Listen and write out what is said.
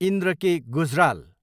Indra K. Gujral